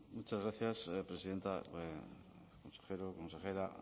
muchas gracias presidenta consejero consejera